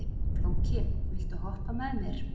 Flóki, viltu hoppa með mér?